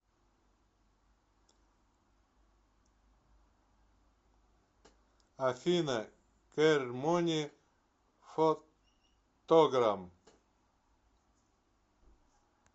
афина церемони фантограм